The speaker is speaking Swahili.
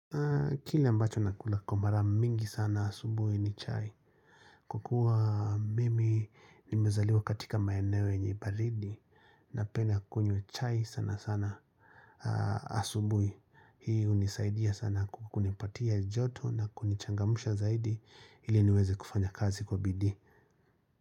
Kile ambacho nakula kwa mara mingi sana asubuhi ni chai. Kwa kuwa mimi nimezaliwa katika maeneo yenye baridi napenda kunywa chai sana sana asubuhi. Hii hunisaidia sana kunipatia joto na kunichangamusha zaidi ili niweze kufanya kazi kwa bidii.